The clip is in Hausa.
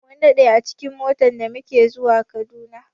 Mun daɗe a cikin mota da muke zuwa Kaduna.